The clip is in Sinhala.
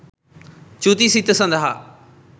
චුති සිත සඳහා